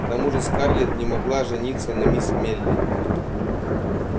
к тому же скарлетт не могла жениться на мисс мелли